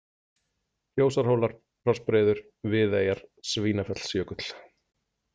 Kjósarhólar, Krossbreiður, Viðeyjar, Svínafellsjökull